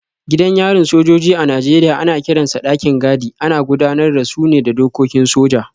Gidan yarin sojoji a Najeriya ana kiransa dakin gadi, ana gudanar da su ne da dokokin soja.